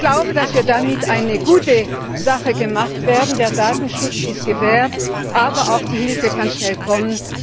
Ich glaube, dass wir damit eine gute Sache gemacht haben. Der Datenschutz ist gewährleistet, aber auch die Hilfe kann schnell kommen.